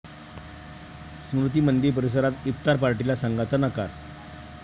स्मृती मंदिर परिसरात इफ्तार पार्टीला संघाचा नकार!